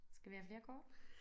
Skal vi have flere kort?